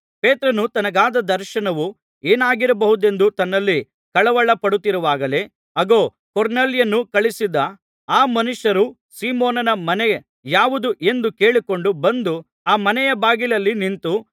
ಪೇತ್ರನು ತನಗಾದ ದರ್ಶನವು ಏನಾಗಿರಬಹುದೆಂದು ತನ್ನಲ್ಲಿ ಕಳವಳ ಪಡುತ್ತಿರುವಾಗಲೇ ಆಗೋ ಕೊರ್ನೆಲ್ಯನು ಕಳುಹಿಸಿದ್ದ ಆ ಮನುಷ್ಯರು ಸೀಮೋನನ ಮನೆ ಯಾವುದು ಎಂದು ಕೇಳಿಕೊಂಡು ಬಂದು ಆ ಮನೆಯ ಬಾಗಿಲಲ್ಲಿ ನಿಂತು